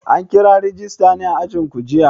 An kira rajista a ajinku jiya?